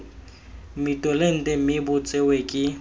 mmitolente mme bo tsewe ke